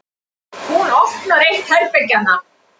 Hún opnar eitt herbergjanna.